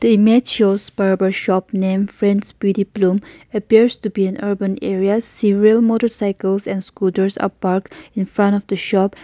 the image shows barber shop named Friends Beauty Bloom appears to be an urban area several motorcycles and scooters are parked in front of the shop.